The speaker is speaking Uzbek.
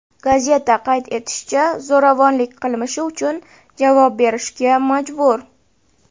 Gazeta qayd etishicha, zo‘ravon qilmishi uchun javob berishga majbur.